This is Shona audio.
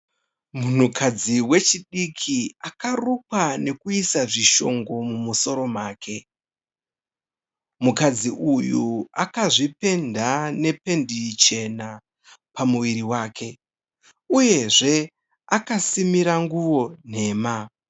Munhukadzi wechidiki, akarukwa nekuisa zvishongo mumusoro make. Mukadzi uyu akazvipenda nependi chena pamuviri wake. Uyezve akasimira nguwo nhema.